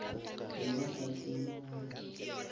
be ba sa tsebe gore